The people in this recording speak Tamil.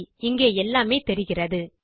சரி இங்கே எல்லாமே தெரிகிறது